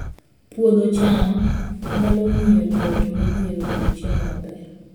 Puodho cham nyalo miyo joot modhier oyud chiemo maber